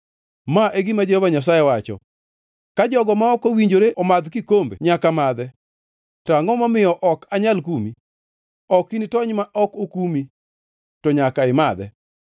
Ma e gima Jehova Nyasaye wacho: “Ka jogo ma ok owinjore omadh kikombe nyaka madhe, to angʼo momiyo ok anyal kumi? Ok initony ma ok okumi, to nyaka imadhe.”